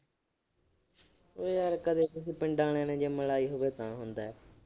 ਬਈ ਜੇ ਕਦੇ ਤੁਸੀਂ ਪਿੰਡਾਂ ਆਲਿਆਂ ਨੇ ਜਿੰਮ ਲਾਈ ਹੋਵੇ ਤਾਂ ਹੁੰਦਾ।